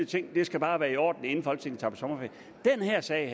ting og det skal bare være i orden inden folketinget tager på sommerferie den her sag